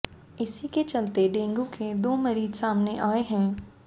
इसी के चलते डेंगू के दो मरीज सामने आए हैं